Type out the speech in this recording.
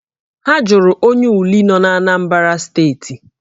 Ha jụrụ onye Uli nọ n'Anambra steeti